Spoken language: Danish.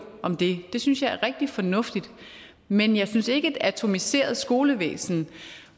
om det det synes jeg er rigtig fornuftigt men jeg synes ikke er et atomiseret skolevæsen